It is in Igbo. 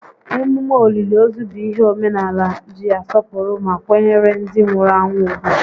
Emume òlìlì ozu bụ ihe omenaala ji asọpụrụ ma kwanyere ndị nwụrụ anwụ ùgwù